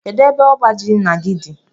Kedụ ebe ọbá jị ńnà gị dị?